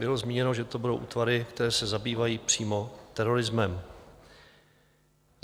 Bylo zmíněno, že to budou útvary, které se zabývají přímo terorismem.